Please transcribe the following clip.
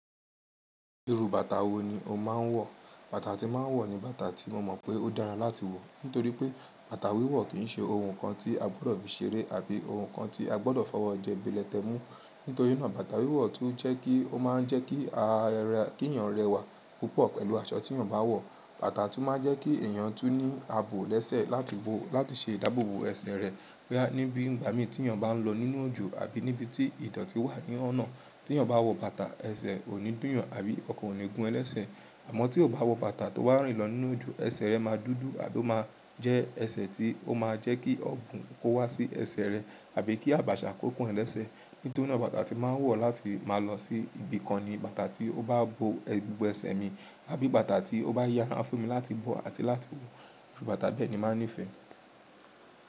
Irú bàtà wo ni o máa ń wọ̀? Bàtà tí mo máa ń wọ̀ ni bàtà tí mo mọ̀ pé ó dára láti wọ̀. Nítorí pé bàtà wíwọ̀ kì í ṣe ohun kan tí a gbọ́dọ̀ fi ṣeré àbí ohun kan tí a gbọ́dọ̀ fọwọ́ jẹ́ ìbílẹ̀ tẹ mú. Nítorí náà, bàtà wíwọ̀ tún jẹ́ kí ó máa ń jẹ́ kí èèyàn rẹwà púpọ̀ pẹ̀lú aṣọ tí yàn bá wọ̀. Bàtà tún máa ń jẹ́ kí èèyàn tú ní àbò lẹ́sẹ̀ láti ṣe ìdáàbò bo ẹsẹ̀ rẹ̀ níbi ìgbà mí tí yàn bá ń lọ nínú òjọ̀ àbí níbi tí ìdọ̀tí wà ní ọ̀nà. Tí yàn bá wọ bàtà, ẹsẹ̀ ò ní dúyàn àbí ọkàn ò ní gún ẹ́ lẹ́sẹ̀. Àmọ́ tí o bá wọ bàtà tó wà ń rìn lọ nínú òjọ̀, ẹsẹ̀ rẹ máa dúdú àbí ó máa jẹ́ ẹsẹ̀ tí ó máa jẹ́ kí ọ̀bùn kó wá sí ẹsẹ̀ rẹ àbí kí àbàṣà kó pọn ẹ́ lẹ́sẹ̀. Nítorí náà, bàtà tí màá wọ̀ láti máa lọ sí ibi kan ni bàtà tí ó bá bo gbogbo ẹsẹ̀ mi àbí bàtà tí ó bá yára fún mi láti bọ̀ àti láti wọ̀. Irú bàtà bẹ́ẹ̀ ni màá nífẹ̀ẹ́.